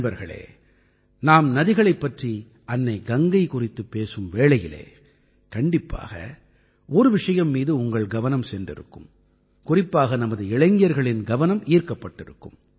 நண்பர்களே நாம் நதிகளைப் பற்றி அன்னை கங்கை குறித்துப் பேசும் வேளையில் கண்டிப்பாக ஒரு விஷயம் மீது உங்கள் கவனம் சென்றிருக்கும் குறிப்பாக நமது இளைஞர்களின் கவனம் ஈர்க்கப்பட்டிருக்கும்